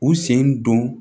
U sen don